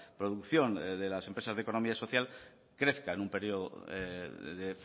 producción de las empresas de economía social crezca en un periodo de